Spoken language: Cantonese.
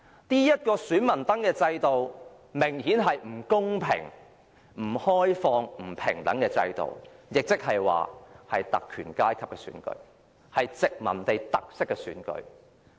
這個選民登記制度明顯是一個不公平、不開放、不平等的，所進行的也是特權階級的選舉，是富殖民地特色的選舉。